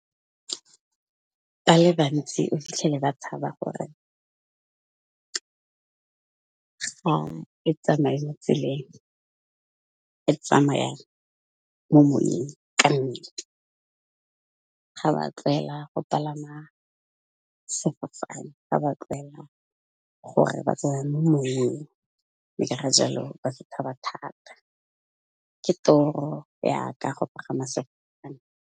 Ba le bantsi o fitlhele ba tshaba gore, ga e tsamaye mo tseleng e tsamaya mo moyeng kannete, ga ba tlwaela go palama sefofane, ga ba tlwaela gore ba tsameye mo moyeng, mme ka ga jalo ba setshaba thata. Ke toro ya ka go pagama sefofane.